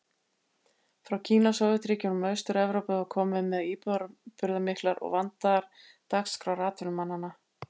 Frá Kína, Sovétríkjunum og Austur-Evrópu var komið með íburðarmiklar og vandaðar dagskrár atvinnumanna.